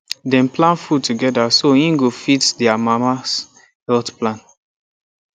dem plan food together so e go fit their mamas health plan